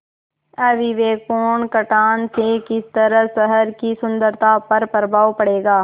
अविवेकपूर्ण कटान से किस तरह शहर की सुन्दरता पर प्रभाव पड़ेगा